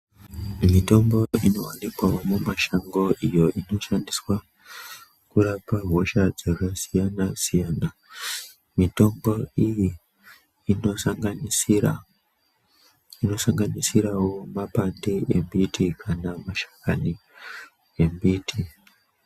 Mitombo inowanikwa mumashango iyo inoshandiswa kurapa hosha dzakasiyana siyana. Mitombo iyi inosanganisirawo mapande embiti kana mashakani embiti.